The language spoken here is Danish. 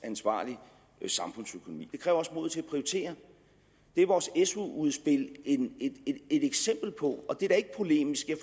ansvarlig samfundsøkonomi det kræver også mod til at prioritere det er vores su udspil et eksempel på og det er da ikke polemisk jeg